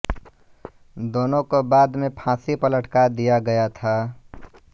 दोनों को बाद में फाँसी पर लटका दिया गया था